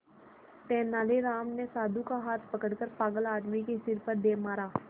तेनालीराम ने साधु का हाथ पकड़कर पागल आदमी के सिर पर दे मारा